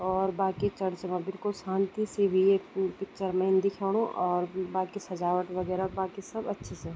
और बाकी चर्च मा बिलकुल शान्ति सी हुई एक पिक्चर मा इन दिख्याणु और बाकी सजावट वगैरा बाकी सब अच्छे से।